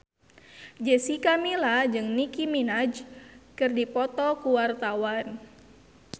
Jessica Milla jeung Nicky Minaj keur dipoto ku wartawan